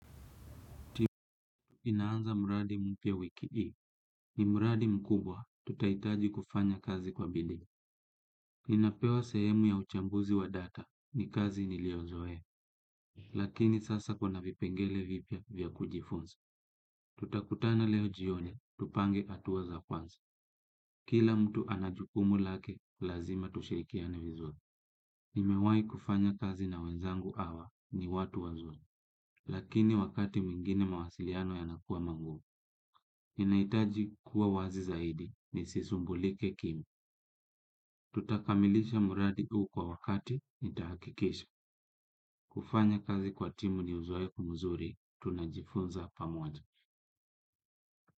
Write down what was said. Timu inaanza mradi mpya wiki hii. Ni mradi mkubwa tutaitaji kufanya kazi kwa bidii. Ninapewa sehemu ya uchambuzi wa data ni kazi niliozoea. Lakini sasa kuna vipengele vipya vya kujifunza. Tutakutana leo jioni, tupange hatua za kwanza. Kila mtu ana jukumu lake, lazima tushirikiane vizuri. Nimewai kufanya kazi na wenzangu hawa ni watu wazuri. Lakini wakati mwingine mawasiliano yanakua magumu. Ninaitaji kuwa wazi zaidi nisisumbulike kimi. Tutakamilisha mradi huu kwa wakati nitahakikisha. Kufanya kazi kwa timu ni uzoefu mzuri, tunajifunza pamoja.